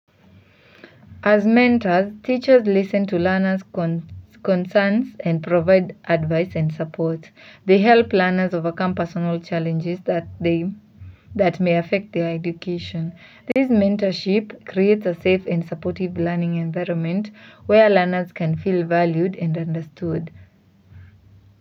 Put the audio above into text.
As mentors, teachers listen to learners' concerns and provide advice and support. They help learners overcome personal challenges that may affect their education. This mentorship creates a safe and supportive learning environment where learners can feel valued and understood.